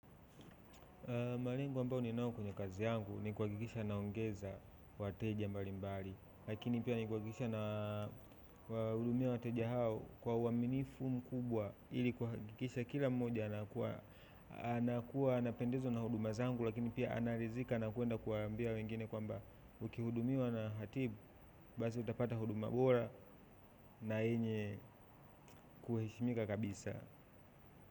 Malengo ambao ninauo kwenye kazi yangu ni kuhakikisha naongeza wateja mbali mbali lakini pia ni kuhakikisha na hudumia wateja hao kwa uaminifu mkubwa ili kuhakikisha kila mmoja anakuwa anapendezwa na huduma zangu lakini pia anaridhika na kwenda kuambia wengine kwamba ukihudumiwa na hatibu, basi utapata huduma bora na yenye kuheshimika kabisa.